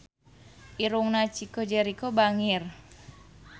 Irungna Chico Jericho bangir